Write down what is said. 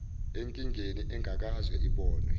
enkingeni engakaze ibonwe